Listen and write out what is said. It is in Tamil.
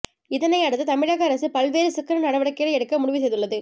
இதனை அடுத்து தமிழக அரசு பல்வேறு சிக்கன நடவடிக்கைகளை எடுக்க முடிவு செய்துள்ளது